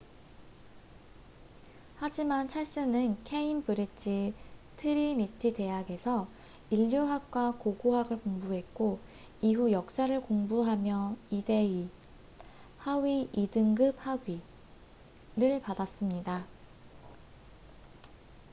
하지만 찰스는 케임브릿지 트리니티 대학에서 인류학과 고고학을 공부했고 이후 역사를 공부하며 2:2하위 2등급 학위를 받았습니다